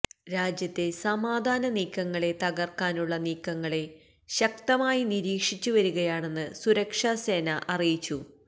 രാജ്യത്തെ സമാധാന നീക്കങ്ങളെ തകര്ക്കാനുള്ള നീക്കങ്ങലെ ശക്തമായി നിരീക്ഷിച്ചു വരികയാണെന്ന് സുരക്ഷാ സേന അറിയിച്ചു